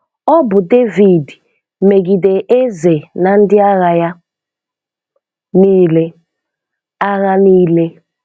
Ọ bụ Devid megide eze na ndị agha ya niile. agha ya niile.